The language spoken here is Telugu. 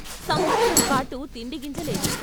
సంవత్సరంపాటు తిండిగింజలేదు....